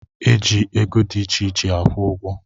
E ji ego di icheiche akwụ ụgọ